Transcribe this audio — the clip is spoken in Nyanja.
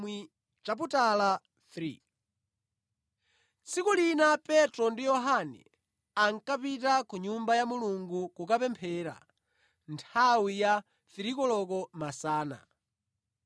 Tsiku lina Petro ndi Yohane ankapita ku Nyumba ya Mulungu kukapemphera nthawi ya 3 koloko masana.